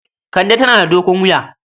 Kande tana da dogon wuya.